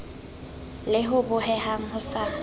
le ho bohehang ho sa